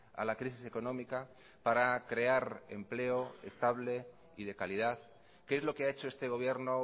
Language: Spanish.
a la crisis económica para crear empleo estable y de calidad qué es lo que ha hecho este gobierno